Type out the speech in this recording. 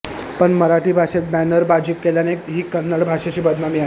पण मराठी भाषेत बॅनरबाजी केल्याने ही कन्नड भाषेची बदनामी आहे